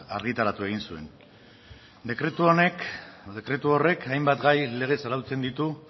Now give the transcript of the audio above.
argitaratu egin zuen dekretu horrek hainbat gai legez arautzen ditu